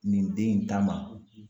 Nin den in ta ma